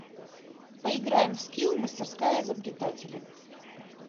поиграем в скилл мастерская изобретателя